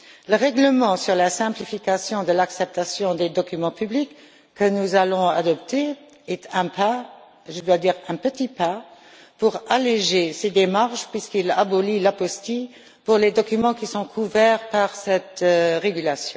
Le règlement sur la simplification de l'acceptation des documents publics, que nous allons adopter, est un pas je dois dire un petit pas pour alléger ces démarches, puisqu'il abolit l'apostille pour les documents qui sont couverts par ce règlement.